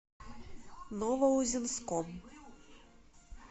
новоузенском